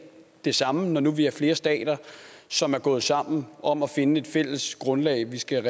det samme når vi nu er flere stater som er gået sammen om at finde et fælles grundlag vi skal